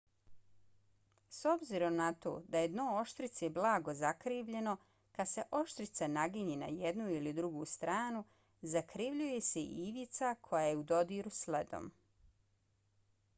s obzirom na to da je dno oštrice blago zakrivljeno kad se oštrica naginje na jednu ili drugu stranu zakrivljuje se i ivica koja je u dodiru s ledom